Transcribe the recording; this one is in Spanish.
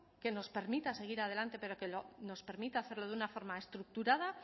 que nos permita seguir adelante pero que nos permita hacerlo de una forma estructurada